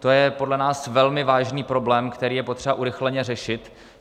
To je podle nás velmi vážný problém, který je potřeba urychleně řešit.